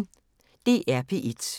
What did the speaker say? DR P1